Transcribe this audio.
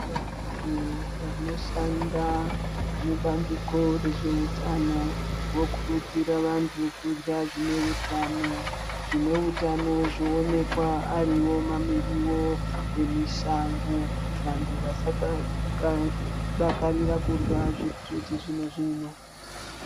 Vantu vanoshanda mubandiko rezveutano vokurudzira vantu kurya zvine utano. Zvine utano zvoonekwa ariwo mamiriwo emushango vantu vasadakarora kurya zvechizvino zvino.